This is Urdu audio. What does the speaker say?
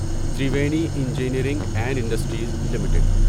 Triveni engineering and industries limited